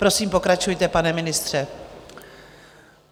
Prosím pokračujte, pane ministře.